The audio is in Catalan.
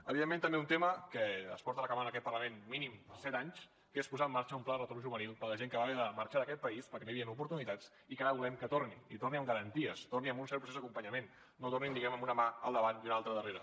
evidentment també un tema que es porta reclamant en aquest parlament mínim set anys que és posar en marxa un pla de retorn juvenil per a la gent que va haver de marxar d’aquest país perquè no hi havien oportunitats i que ara volem que torni i torni amb garanties torni amb un cert procés d’acompanyament no tornin diguem ne amb una mà al davant i una altra darrere